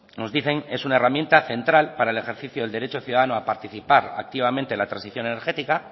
nos dicen es una herramienta central para el ejercicio del derecho de ciudadano a participar activamente en la transición energética